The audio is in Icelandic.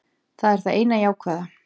Það er það eina jákvæða.